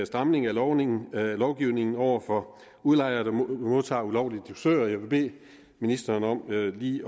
stramning af lovgivningen lovgivningen over for udlejere der modtager ulovlige dusører jeg vil bede ministeren om lige